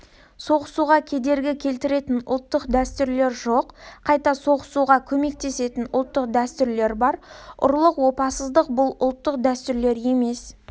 соғысуға кедергі келтіретін ұлттық дәстүрлер жоқ қайта соғысуға көмектесетін ұлттық дәстүрлер бар ұрлық опасыздық бұл ұлттық дәстүрлер емес